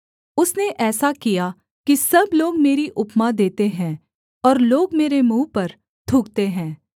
उसने ऐसा किया कि सब लोग मेरी उपमा देते हैं और लोग मेरे मुँह पर थूकते हैं